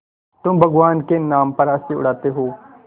तुम भगवान के नाम पर हँसी उड़ाते हो